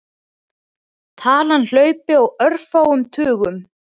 Talan hlaupi á örfáum tugum.